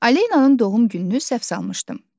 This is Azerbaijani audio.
Alenanın doğum gününü səhv salmışdım.